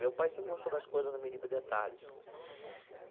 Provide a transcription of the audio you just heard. Meu pai sempre gostou das coisas no mínimo detalhes.